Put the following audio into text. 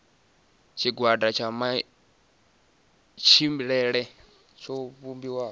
tshigwada tsha matshilele tsho vhumbiwa